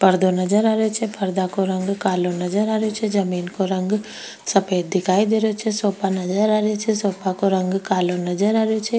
पर्दो नजर आ रियो छे पर्दा को रंग कालो नजर आ रहियो छे जमीन को रंग सफेद दिखाई दे रहियो छे सोफा नजर आ रिया छे सोफा को रंग कालो नजर आ रहियो छे।